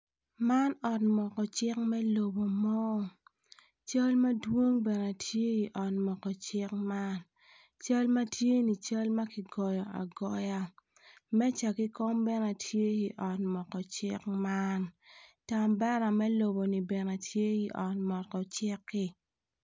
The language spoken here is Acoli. Man ot moko cik me lobo mo cal madwong bene tye i ot moko cik man cal ma tye-ni cal ma kigoyo agoya meja ki kom bene tye i ot moko cik man bandera me loboni bene tye i ot moko cik-ki.